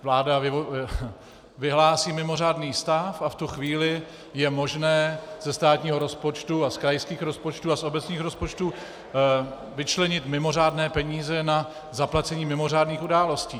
Vláda vyhlásí mimořádný stav a v tu chvíli je možné ze státního rozpočtu a z krajských rozpočtů a z obecních rozpočtů vyčlenit mimořádné peníze na zaplacení mimořádných událostí.